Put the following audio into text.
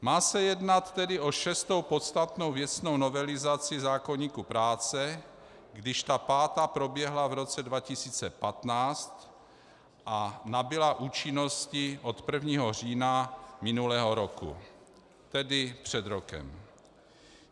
Má se jednat tedy o šestou podstatnou věcnou novelizaci zákoníku práce, když ta pátá proběhla v roce 2015 a nabyla účinnosti od 1. října minulého roku, tedy před rokem.